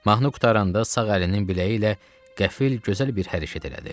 Mahnı qurtaranda sağ əlinin biləyi ilə qəfil gözəl bir hərəkət elədi.